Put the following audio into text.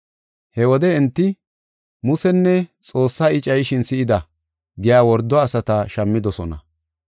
He wode enti, “Musenne Xoossaa I cayishin si7ida” giya wordo asata shammidosona.